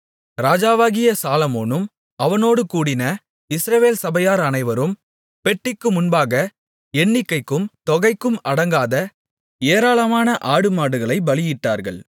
ராஜாவாகிய சாலொமோனும் அவனோடு கூடின இஸ்ரவேல் சபையார் அனைவரும் பெட்டிக்கு முன்பாக எண்ணிக்கைக்கும் தொகைக்கும் அடங்காத ஏராளமான ஆடுமாடுகளைப் பலியிட்டார்கள்